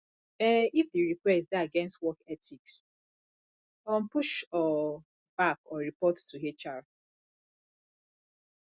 um if di request dey against work ethics um push um back or report to hr